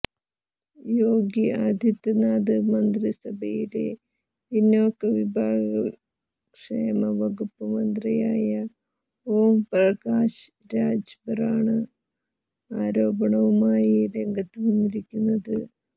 യോഗി ആദിത്യനാഥ് മന്ത്രിസഭയിലെ പിന്നോക്ക വിഭാഗ ക്ഷേമ വകുപ്പ് മന്ത്രിയായ ഓം പ്രകാശ് രാജ്ഭറാണ് ആരോപണവുമായി രംഗത്തുവന്നിരിക്കുന്നത്